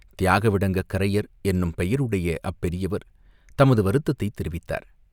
தியாகவிடங்கக் கரையர் என்னும் பெயருடைய அப்பெரியவர் தமது வருத்தத்தைத் தெரிவித்தார்.